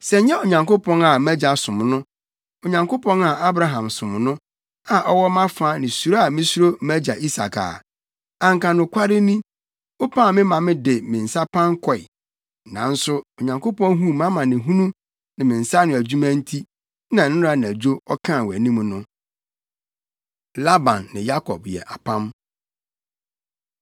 Sɛ ɛnyɛ Onyankopɔn a mʼagya som no, Onyankopɔn a Abraham som no a ɔwɔ mʼafa ne suro a misuro mʼagya Isak a, anka nokware ni, wopam me maa mede me nsa pan kɔe. Nanso Onyankopɔn huu mʼamanehunu ne me nsa ano adwuma nti na nnɛra anadwo ɔkaa wʼanim no.” Laban Ne Yakob Yɛ Apam